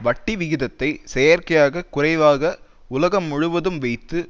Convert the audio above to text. வட்டி விகிதத்தை செயற்கையாக குறைவாக உலகம் முழுவதும் வைத்து